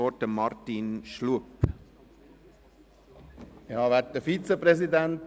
Wir haben noch einen Einzelsprecher.